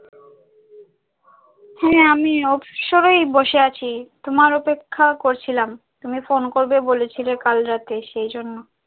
হ্যাঁ আমি অবসর এই বসে আছি তোমার অপেক্ষা করছিলাম, তুমি phone করবে বলেছিলে কাল রাতে সেই জন্য।